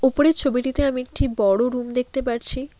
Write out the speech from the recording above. উপরের ছবিটিতে আমি একটি বড়ো রুম দেখতে পারছি।